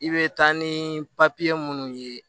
I bɛ taa ni papiye minnu ye